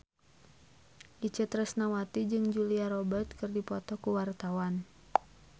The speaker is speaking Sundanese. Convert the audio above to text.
Itje Tresnawati jeung Julia Robert keur dipoto ku wartawan